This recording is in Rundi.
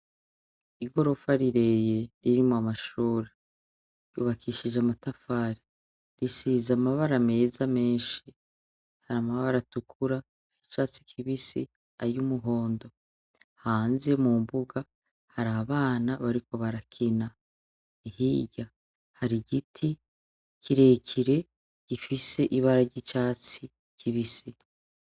Igorofa rirerire ririmwo amashure yubakishije amatafari risize amabara meza menshi, hari amabara atukura, ay'icatsi kibisi, ay'umuhondo, hanze mu mbuga hari abana bariko barakina, hirya hari igiti kirekire gifise ibara ry'icatsi kibisi.